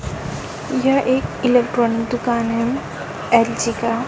यह एक इलेक्ट्रॉनिक दुकान है एल_जी का--